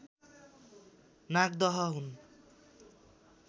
नागदह हुन्